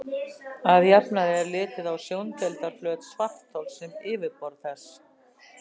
Að jafnaði er litið á sjóndeildarflöt svarthols sem yfirborð þess.